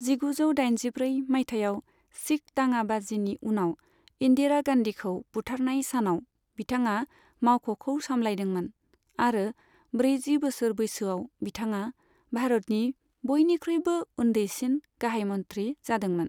जिगुजौ दाइनजिब्रै मायथाइयाव शिख दाङा बाजिनि उनाव इन्दिरा गान्धीखौ बुथारनाय सानाव बिथाङा मावख'खौ सामलायदोंमोन आरो ब्रैजि बोसोर बैसोआव बिथाङा भारतनि बयनिख्रुइबो उन्दैसिन गाहाय मन्थ्रि जादोंमोन।